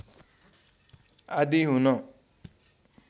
आदि हुन